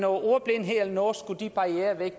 ordblindhed eller noget andet skulle de barrierer væk